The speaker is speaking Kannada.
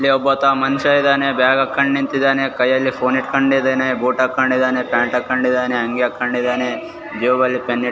ಇಲ್ಲಿ ಒಬ್ಬಾತ ಮನುಷ್ಯ ಇದಾನೆ ಬ್ಯಾಗ್ ಹಾಕೊಂಡು ನಿಂತಿದಾನೆ ಕೈಯಲ್ಲಿ ಫೋನ್ ಹಿಡ್ಕೊಂಡಿದಾನೆ ಬೂಟ್ ಹಾಕೊಂಡಿದಾನೆ ಪ್ಯಾಂಟ್ ಹಾಕೊಂಡಿದಾನೆ ಅಂಗಿ ಹಾಕೊಂಡಿದಾನೆ ಜೇಬಲ್ಲಿ ಪೆನ್ನ್ ಹಿಡ್ಕೊಂ --